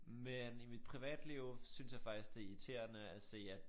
Men i mit privatliv synes jeg faktisk det irriterende at se at